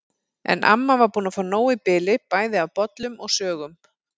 En amma var búin að fá nóg í bili bæði af bollum og sögum.